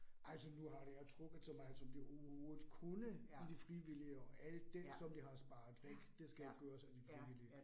Altså nu har det ja trukket så meget som det overhovedet kunne i de frivillige, og alt det som det har sparet væk, det skal gøres af de frivillige